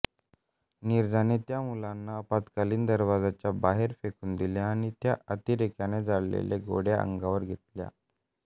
नीरजाने त्या मुलांना आपत्कालीन दरवाजाच्या बाहेर फेकून दिले आणि त्या अतिरेक्याने झाडलेल्या गोळ्या अंगावर घेतल्या